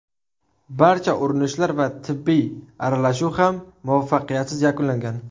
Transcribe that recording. Barcha urinishlar va tibbiy aralashuv ham muvaffaqiyatsiz yakunlangan.